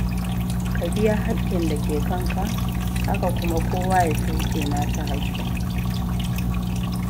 Ka biya haƙƙin da ke kanka, haka kuma kowa ya sauke nasa haƙƙin.